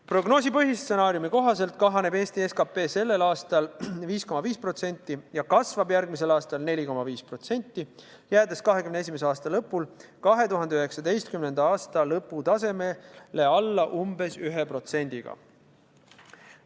Prognoosi põhistsenaariumi kohaselt kahaneb Eesti SKP sellel aastal 5,5% ja kasvab järgmisel aastal 4,5%, jäädes 2021. aasta lõpul 2019. aasta lõpu tasemele alla umbes 1%-ga.